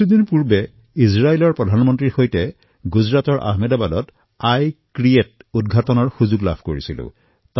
কেইদিনমান পূৰ্বে ইজৰাইলৰ প্ৰধানমন্ত্ৰীৰ সৈতে মই গুজৰাটৰ আহমেদাবাদত ই ক্ৰিএট ৰ উদঘাটনৰ বাবে একেলগে যোৱাৰ সৌভাগ্য লাভ কৰিছিলোঁ